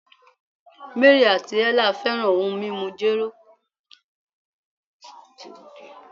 Mary ati Ella fẹran ohun mimu jero